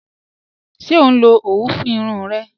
Ṣẹ o nlọ owú fún irùn rẹ?